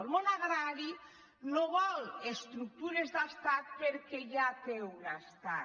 el món agrari no vol estructures d’estat perquè ja té un estat